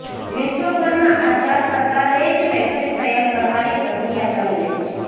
વિશ્વભરમાં આ ચાર પ્રકારે જ વેક્સીન તૈયાર કરવાની પ્રક્રિયા ચાલી રહી છે